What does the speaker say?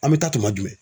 An bɛ taa tuma jumɛn